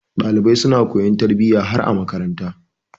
Ɗalibai suna koyon tarbiyya har a makaranta.